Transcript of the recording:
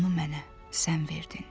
Onu mənə sən verdin.